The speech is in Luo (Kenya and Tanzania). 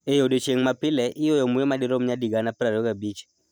E odiechieng� ma pile, iyueyo muya madirom nyadi 25,000.